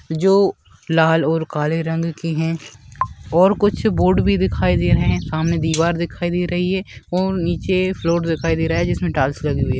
जो लाल और काले रंग की है और कुछ बोर्ड भी दिखाई दे रहे है सामने दिवार दिखाई दे रही है और नीचे फ्लोर दिखाई दे रहा है जिसमे टाइल्स लगी हुई है।